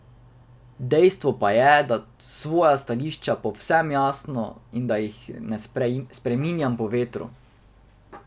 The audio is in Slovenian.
Dejstvo pa je, da svoja stališča povem jasno in da jih ne spreminjam po vetru.